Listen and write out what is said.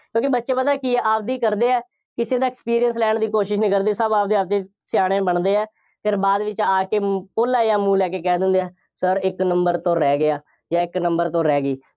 ਕਿਉਂਕਿ ਬੱਚੇ ਪਤਾ ਕੀ ਆ, ਆਪਦੀ ਕਰਦੇ ਆ, ਕਿਸੇ ਦਾ experience ਲੈਣ ਦੀ ਕੋਸ਼ਿਸ਼ ਨਹੀਂ ਕਰਦੇ। ਸਭ ਆਪਦੇ ਆਪਦੇ ਸਿਆਣੇ ਬਣਦੇ ਆ, ਫਿਰ ਬਾਅਦ ਵਿੱਚ ਆ ਕੇ, ਪੋਲਾ ਜਿਹਾ ਮੂੰਹ ਲੈ ਕੇ ਕਹਿ ਦਿੰਦੇ ਆ, sir ਇੱਕ number ਤੋਂ ਰਹਿ ਗਿਆ ਜਾਂ ਇੱਕ number ਤੋਂ ਰਹਿ ਗਈ।